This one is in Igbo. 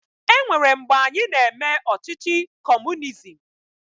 E nwere mgbe anyị na-eme ọchịchị kọọmunizim.